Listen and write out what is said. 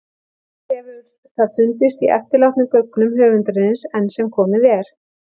Né hefur það fundist í eftirlátnum gögnum höfundarins- enn sem komið er.